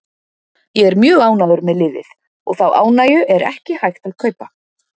Ég er mjög ánægður með liðið og þá ánægju er ekki hægt að kaupa.